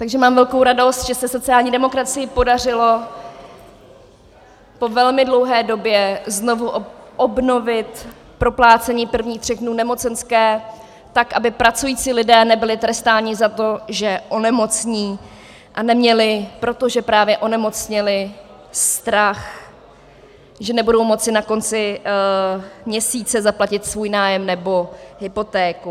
Takže mám velkou radost, že se sociální demokracii podařilo po velmi dlouhé době znovu obnovit proplácení prvních tří dnů nemocenské, tak aby pracující lidé nebyli trestáni za to, že onemocní, a neměli, protože právě onemocněli, strach, že nebudou moci na konci měsíce zaplatit svůj nájem nebo hypotéku.